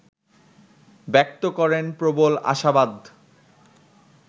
ব্যক্ত করেন প্রবল আশাবাদ